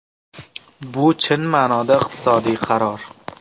Bu chin ma’noda iqtisodiy qaror.